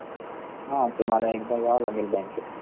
हा तुम्हाला एकदा याव लागेल बँकेमध्ये इथ